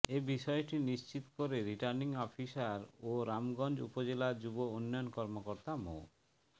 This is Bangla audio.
এ বিষয়টি নিশ্চিত করে রিটার্নিং অফিসার ও রামগঞ্জ উপজেলা যুব উন্নয়ন কর্মকর্তা মো